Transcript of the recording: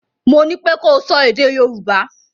Mo ní pé ko sọ èdè Yorùbá!